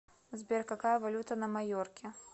сбер какая валюта на майорке